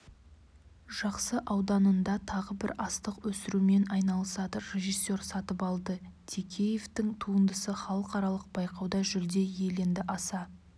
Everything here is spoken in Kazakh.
жақсы ауданында тағы бір астық өсірумен айналысады режиссер сатыбалды текеевтің туындысы халықаралық байқауда жүлде иеленді аса